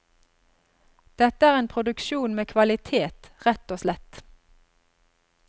Dette er en produksjon med kvalitet, rett og slett.